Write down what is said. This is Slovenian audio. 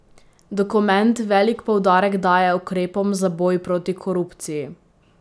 Dokument velik poudarek daje ukrepom za boj proti korupciji.